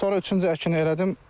Sonra üçüncü əkini elədim.